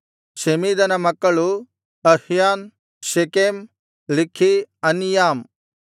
ಶೆಮೀದನ ಮಕ್ಕಳು ಅಹ್ಯಾನ್ ಶೆಕೆಮ್ ಲಿಕ್ಹೀ ಅನೀಯಾಮ್